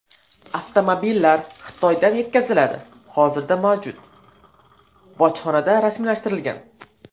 Avtomobillar Xitoydan yetkaziladi, hozirda mavjud, bojxonada rasmiylashtirilgan.